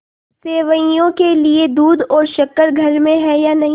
सेवैयों के लिए दूध और शक्कर घर में है या नहीं